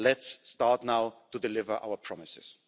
Let's start now to deliver our promises.